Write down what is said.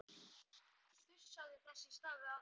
Þusaði þess í stað við aðra.